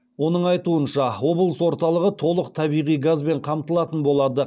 оның айтуынша облыс орталығы толық табиғи газбен қамтылатын болады